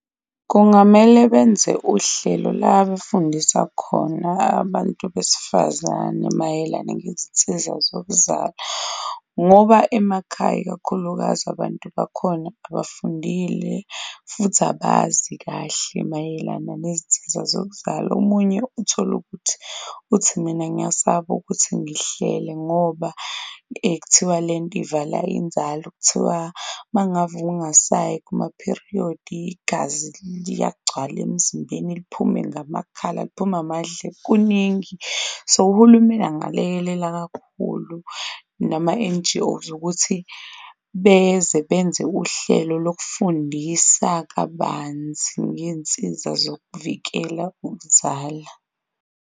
Kungamele benze uhlelo la befundisa khona abantu besifazane mayelana ngezinsiza zokuzala ngoba emakhaya ikakhulukazi abantu bakhona abafundile, futhi abazi kahle mayelana omunye uthole ukuthi, uthi mina ngiyasaba ukuthi ngihlele ngoba kuthiwa le nto ivala inzalo. Kuthiwa mangave ungasayi kuma-period igazi liyagcwala emzimbeni liphume ngamakhala, liphume ngamadlebe kuningi, so uhulumeni angalekelela kakhulu nama N_G_Os ukuthi beze benze uhlelo lokufundisa kabanzi ngeyinsiza zokuvikela ukuzala.